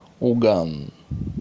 уган